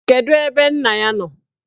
Kedụ ebe nna ya nọ?